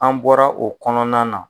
An bɔra o kɔnɔna na.